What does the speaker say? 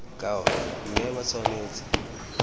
ka ona mme ba tshwanetse